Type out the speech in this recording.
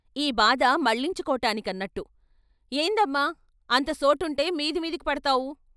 ఈ బాధ మళ్ళించుకోటాని కన్నట్టు ఏందమ్మా, అంత సోటుంటే మీది మీదికి పడ్తావూ.....?